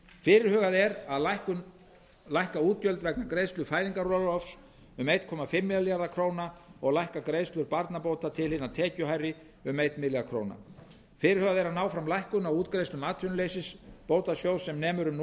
fyrirhugað er að lækka útgjöld vegna greiðslu fæðingarorlofs um einn komma fimm milljarða króna og að lækka greiðslur barnabóta til hina tekjuhærri um einn milljarð króna fyrirhugað er að ná fram lækkun á útgreiðslum atvinnuleysisbótasjóðs sem nemur um